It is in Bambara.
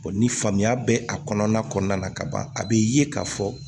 ni faamuya bɛ a kɔnɔna na ka ban a bɛ ye k'a fɔ